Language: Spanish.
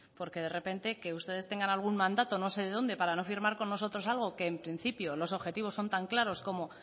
porque de repente que ustedes tengan algún mandato no sé de dónde para no firmar con nosotros algo que en principio los objetivos son tan claros como